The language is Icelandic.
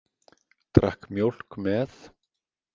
Drakk mjólk með.